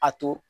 A to